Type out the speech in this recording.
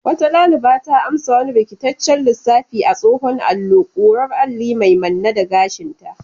Wata daliba ta amsa wani rikitaccen lissafi a tsohon allo, kurar alli mai manne da gashinta.